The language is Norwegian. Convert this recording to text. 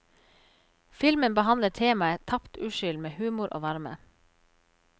Filmen behandler temaet tapt uskyld med humor og varme.